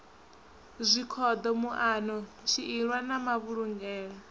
zwikhoḓo muano tshiilwa na mavhulungele